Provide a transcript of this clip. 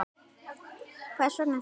Hvers vegna þau tvö?